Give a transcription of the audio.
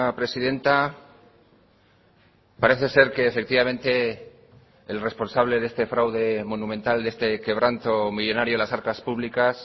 presidenta parece ser que efectivamente el responsable de este fraude monumental de este quebranto millónario a las arcas públicas